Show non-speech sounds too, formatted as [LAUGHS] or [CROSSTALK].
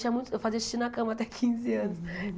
Tinha muito eu fazia xixi na cama até quinze anos. [LAUGHS]